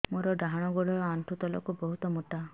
ମୋର ଡାହାଣ ଗୋଡ ଆଣ୍ଠୁ ତଳୁକୁ ବହୁତ ମୋଟା